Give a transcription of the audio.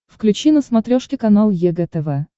включи на смотрешке канал егэ тв